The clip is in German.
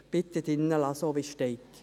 Bitte drin lassen, so wie es steht.